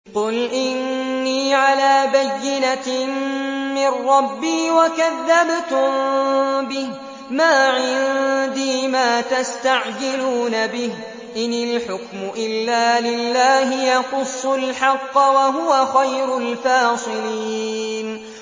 قُلْ إِنِّي عَلَىٰ بَيِّنَةٍ مِّن رَّبِّي وَكَذَّبْتُم بِهِ ۚ مَا عِندِي مَا تَسْتَعْجِلُونَ بِهِ ۚ إِنِ الْحُكْمُ إِلَّا لِلَّهِ ۖ يَقُصُّ الْحَقَّ ۖ وَهُوَ خَيْرُ الْفَاصِلِينَ